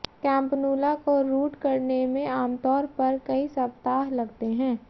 campanula को root करने में आमतौर पर कई सप्ताह लगते हैं